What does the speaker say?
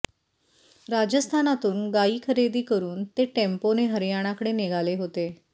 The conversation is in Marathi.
राजस्थानातून गायी खरेदी करुन ते टेम्पोने हरयाणाकडे निघाले होते